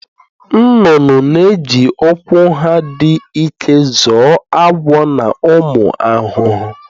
Nnụnụ na-eji ụkwụ ha dị ike zọọ agwọ na ụmụ ahụhụ.